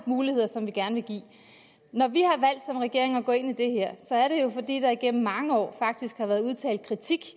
muligheder som vi gerne vil give når vi som regering har valgt at gå ind i det her er det jo fordi der faktisk gennem mange år har været udtalt kritik